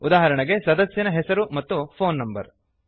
ಉದಾಹರಣೆಗೆ ಸದಸ್ಯನ ಹೆಸರು ಮತ್ತು ಫೋನ್ ನಂಬರ್